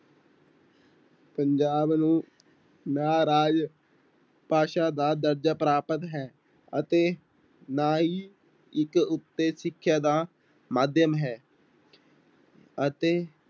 ਪੰਜਾਬ ਨੂੰ ਨਾਰਾਜ਼ ਭਾਸ਼ਾ ਦਾ ਦਰਜ਼ਾ ਪ੍ਰਾਪਤ ਹੈ, ਅਤੇ ਨਾ ਹੀ ਇੱਕ ਉੱਤੇ ਸਿੱਖਿਆ ਦਾ ਮਾਧਿਅਮ ਹੈ ਅਤੇ